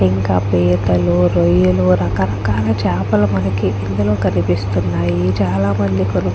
ఇంకా పీతలు రొయ్యలు రకరకాల చాపలు మనకి కనిస్తునాయి చాలా మంది కొను --